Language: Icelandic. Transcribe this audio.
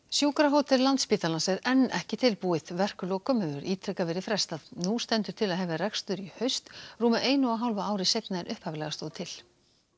sjúkrahótel Landspítalans er enn ekki tilbúið verklokum hefur ítrekað verið frestað nú stendur til að hefja rekstur í haust rúmu einu og hálfu ári seinna en upphaflega stóð til